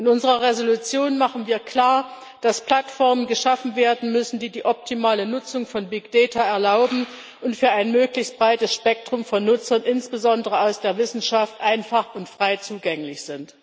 In unserer Entschließung machen wir klar, dass Plattformen geschaffen werden müssen, die die optimale Nutzung von Big Data erlauben und für ein möglichst breites Spektrum von Nutzern, insbesondere aus der Wissenschaft, einfach und frei zugänglich sind.